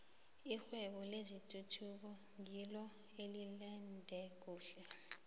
irhwebo lezeenthuthi ngilo elande khulu